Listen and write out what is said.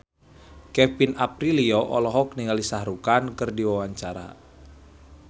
Kevin Aprilio olohok ningali Shah Rukh Khan keur diwawancara